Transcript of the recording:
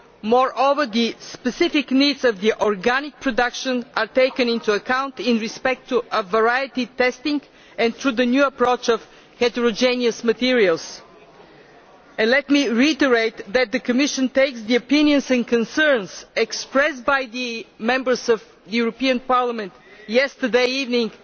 Moreover, the specific needs of organic production are taken into account in respect of variety testing and through the new approach to heterogeneous materials. Let me reiterate that the Commission takes the opinions and concerns expressed by the Members of the European Parliament yesterday evening